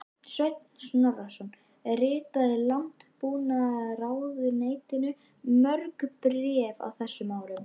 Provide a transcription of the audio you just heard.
Sveinn Snorrason ritaði Landbúnaðarráðuneytinu mörg bréf á þessum árum.